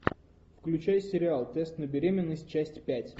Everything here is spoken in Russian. включай сериал тест на беременность часть пять